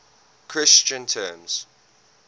christian terms